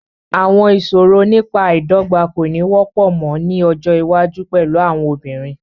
Àwọn ìṣòro nípa àìdọ́gba kò ní wọ́pọ̀ mọ́ ní ọjọ́ iwájú pẹ̀lú àwọn obìnrin.